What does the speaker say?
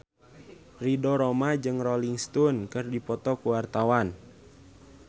Ridho Roma jeung Rolling Stone keur dipoto ku wartawan